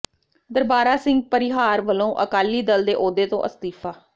ਦਰਬਾਰਾ ਸਿੰਘ ਪਰਿਹਾਰ ਵਲੋਂ ਅਕਾਲੀ ਦਲ ਦੇ ਅਹੁਦੇ ਤੋਂ ਅਸਤੀਫ਼ਾ